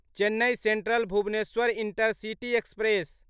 Chennai central Bhubaneswar intercity express